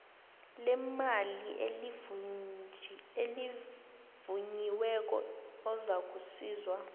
lemali elivunyiweko ozakusizwa